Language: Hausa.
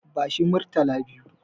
Bashi Murtala biyu.